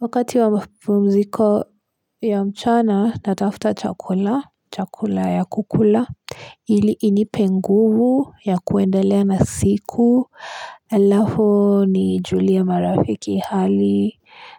Wakati wa mapumziko ya mchana natafuta chakula chakula ya kukula ili inipe nguvu ya kuendelea na siku Halafu nijulie marafiki hali